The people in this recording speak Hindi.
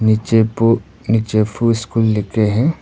नीचिपु नीचिपु स्कूल लिखे हैं।